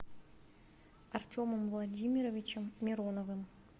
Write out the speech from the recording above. артемом владимировичем мироновым